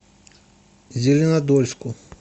зеленодольску